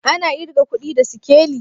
Ana irga kudi da sikeli?